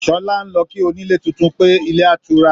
Sọlá ń lọ kí onílé tuntun pé, ilé otura